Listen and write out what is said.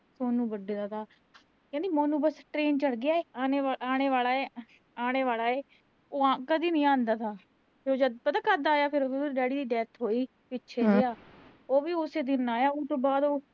ਸੋਨੂੰ ਵੱਡੇ ਦਾ ਥਾ। ਕਹਿੰਦੀ ਮਾਮਾ ਬਸ ਟਰੇਨ ਚੜ੍ਹ ਗਿਆ। ਆਨੇ, ਆਨੇ ਵਾਲਾ ਐ, ਆਨੇ ਵਾਲਾ ਐ। ਉਹ ਆ ਆਹ ਕਦੀ ਨੀਂ ਆਂਦਾ ਹੁਣ। ਉਹ ਜਦ, ਪਤਾ ਕਦ ਆਇਆ ਫਿਰ ਉਹੋ, ਉਹਦੇ ਡੈਡੀ ਦੀ ਡੈਥ ਹੋਈ ਪਿਛੇ ਜਿਆ ਉਹ ਵੀ ਉਸ ਦਿਨ ਆਇਆ, ਉਸ ਤੋਂ ਬਾਅਦ